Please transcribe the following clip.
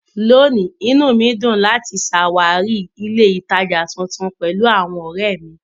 Lónìí, inú mi dùn láti ṣàwárí ilé-ìtajà tuntun pẹ̀lú àwọn ọ̀rẹ́ mi.